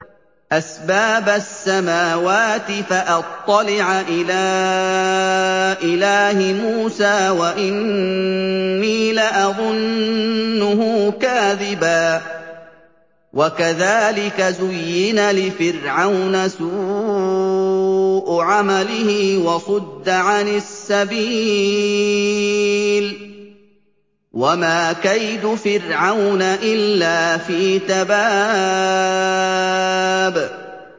أَسْبَابَ السَّمَاوَاتِ فَأَطَّلِعَ إِلَىٰ إِلَٰهِ مُوسَىٰ وَإِنِّي لَأَظُنُّهُ كَاذِبًا ۚ وَكَذَٰلِكَ زُيِّنَ لِفِرْعَوْنَ سُوءُ عَمَلِهِ وَصُدَّ عَنِ السَّبِيلِ ۚ وَمَا كَيْدُ فِرْعَوْنَ إِلَّا فِي تَبَابٍ